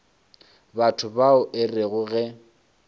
batho bao e rego ge